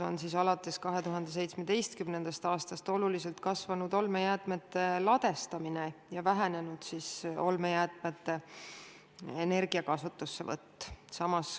Alates 2017. aastast on oluliselt kasvanud olmejäätmete ladestamine ja vähenenud olmejäätmete energia kasutussevõtt.